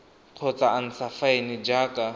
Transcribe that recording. kgotsa a ntsha faene jaaka